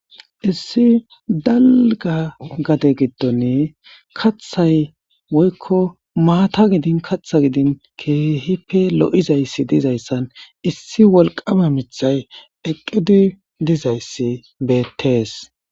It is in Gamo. Issi dalga gade gidon kathay woyko mata gidin kata gidin kehipe lo'zaysi dizaysan issi wolqama mitay eqidi dizaysi betes.